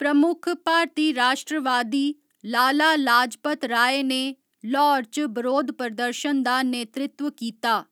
प्रमुख भारती राश्ट्रवादी लाला लाजपत राय ने ल्हौर च बरोध प्रदर्शन दा नेतृत्व कीता।